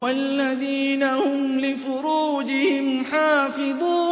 وَالَّذِينَ هُمْ لِفُرُوجِهِمْ حَافِظُونَ